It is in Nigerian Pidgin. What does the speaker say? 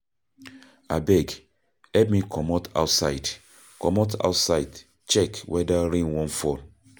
Abeg, help me comot outside check weather rain wan fall.